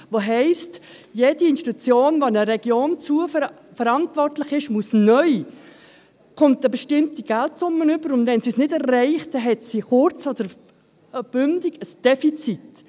Das heisst, dass jede Institution, die für eine Region verantwortlich ist, neu eine bestimmte Geldsumme erhalten muss, und wenn sie es damit nicht schafft, dann hat sie über kurz oder lang ein Defizit.